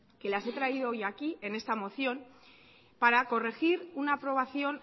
que las he traído hoy aquí en esta moción